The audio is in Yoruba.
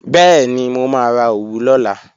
Bẹ́ẹ̀ni, mo máa ra òwú lọ́la